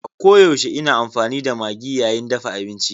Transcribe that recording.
A koyaushe ina amfani da Maggi yayin dafa abinci.